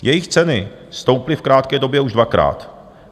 Jejich ceny stouply v krátké době už dvakrát.